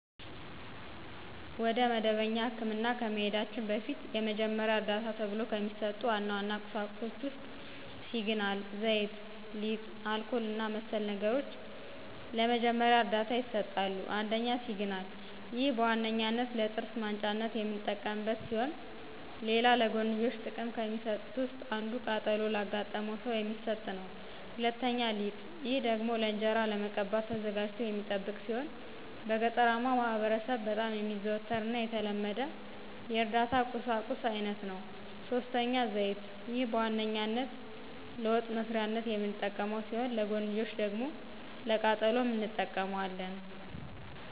ወደ መደበኛ ህክምና ከመሂዳችን በፊት የመጀመሪያ ዕርዳታ ተብሎው ከሚሰጡ ዋና ዋና ቁሳቁሶች ውስጥ ሲግናል፣ ዘይት፣ ሊጥ፣ አልኮል እና መሰል ነገሮች ለመጀመሪያ ዕርዳታ ይሰጣሉ። ፩) ሲግናል፦ ይህ በዋነኛነት ለጥርስ ማንጫነት የምንጠቀምበት ሲሆን ሌላ ለጎንዮሽ ጥቅም ከሚሰጡት ውስጥ አንዱ ቃጠሎ ላጋጠመው ሰው የሚሰጥ ነው። ፪) ሊጥ፦ ይህ ደግሞ ለእንጅራ ለመቀባት ተዘጋጅቶ የሚጠብቅ ሲሆን በገጠራማው ማህበረሰብ በጣም የሚዘወተር እና የተለመደ የእርዳታ ቁሳቁስ አይነት ነው። ፫) ዘይት፦ ይህ በዋነኛነት ለወጥ መስሪያነት የምንጠቀመው ሲሆን ለጎንዮሽ ደግሞ ለቃጠሎም እንጠቀመዋለን።